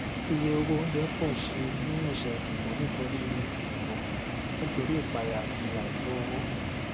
iye owó oúnjẹ pọ síi ní ọsẹ ìdìbò nítorí ìdìbò nítorí ìpayà àti àìtó owó